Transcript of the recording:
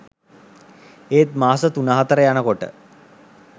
ඒත් මාස තුන හතර යනකොට